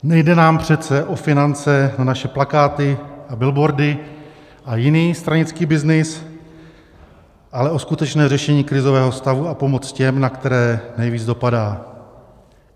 Nejde nám přece o finance na naše plakáty a billboardy a jiný stranický byznys, ale o skutečné řešení krizového stavu a pomoc těm, na které nejvíc dopadá.